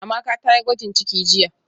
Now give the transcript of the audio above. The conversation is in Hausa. Amaka tayi gwajin ciki jiya